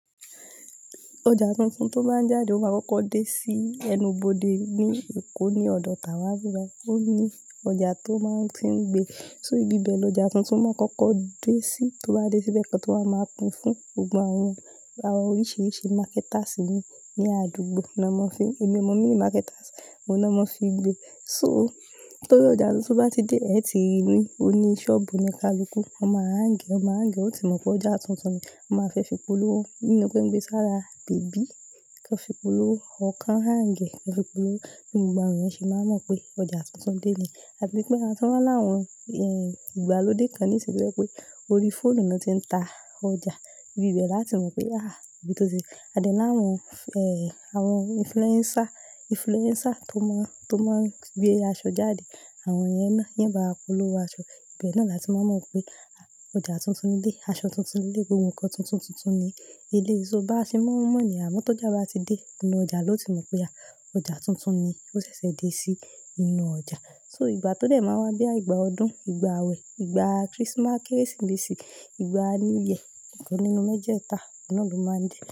Ọjà tuntun tó bá ń jáde, ó máa kọ́kọ́ dé sí ẹnubodè ní Èkó ní ọ̀dọ̀ Tàwà níbí bàyí. Ó ní ọjà tó máa ń ti ń gbé. Só ibi bẹ ló ọjà tuntun máa kọ́kọ́ dé sí, tó bá dé sí bẹ́ẹ̀ kan tó máa wáa pín fún gbogbo àwọn àwọn oríṣìíríṣìí marketers nìyí ní àdúgbò ni wọ́n máa fí ń, èmi ò mọ̀ meaning marketers, òun náà máa fi gbé. So, torí ọjà tuntun bá ti dé, ẹ̀ ti rí i ní, ó ní sọ́ọ̀bù ní ta ló kú, ọmọ a ń gẹ̀, ọmọ a ń gẹ̀, ó sì mọ̀ pé ọjà tuntun ni. Wọ́n máa fẹ́ fi polówó nínú pé ń gbé sára bèbí kí wọ́n fi polówó, ábí kí wón hang è ń kí wọ́n fi polówó. Bí gbogbo àwọn èèyàn sẹ máa mọ̀ pé ọjà tuntun dé ni. Àti pé àtúnláwọn, eh, ìgbàlódé kan ní ìsín yìí tọ́ yẹ pé orí fóònù ni wọ́n ti ń ta ọjà. Ibi bẹ́ẹ̀ láti mọ̀ pé, àh, bí tó ti. A dè ní láwọn, eh, àwọn influencer, influencer tó máa ń, tó máa ń gbé aṣọ jáde, àwọn èyí náà, ni yóò báwa polówó aṣọ, ibẹ̀ náà làti máa mọ̀ pé ọjà tuntun dé, aṣọ tuntun dé, ohun kan tuntun tuntun ni ẹléyìí. Tó bá ti máa n mò ni, àmọ́ tó jẹ́ bá ti dé inú ọjà ló ti mọ̀ pé, àh, ọjà tuntun ni ó ṣẹ̀ṣẹ̀ dé sí inú ọjà. So ìgbà tó dẹ̀ máa wá bí i ìgbà ọdún, ìgbà àwẹ̀, ìgbà Christmas, Kérésìmesì, ìgbà New Year, nǹkan nínú méjì ẹta, ọ̀hun náà ló máa ń dé.